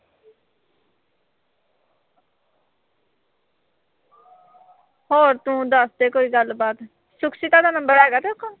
ਹੋਰ ਤੂੰ ਦੱਸ ਦੇ ਕੋਈ ਗੱਲਬਾਤ ਸੁਖਸੀਤਾ ਦਾ ਨੰਬਰ ਹੈਗਾ ਤੇਰੇ ਕੋਲ?